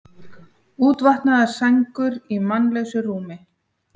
Útvaðnar sængur í mannlausu rúmi.